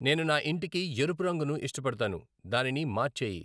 నేను నా ఇంటికి ఎరుపు రంగును ఇష్టపడతాను దానిని మార్చేయి